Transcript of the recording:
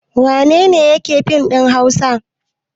Wane ne yake yin fim da Hausa?